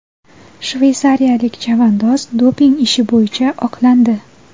Shveysariyalik chavandoz doping ishi bo‘yicha oqlandi.